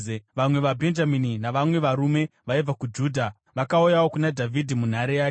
Vamwe vaBhenjamini navamwe varume vaibva kuJudha vakauyawo kuna Dhavhidhi munhare yake.